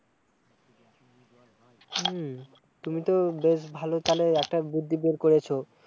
তুমি তো বেশ ভালো তালে একটা বুদ্ধি বের করেছো